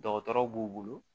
Dɔgɔtɔrɔw b'u bolo